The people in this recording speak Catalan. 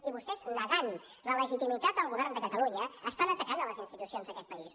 i vostès negant la legitimitat del govern de catalunya estan atacant les institucions d’aquest país